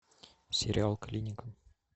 сериал клиника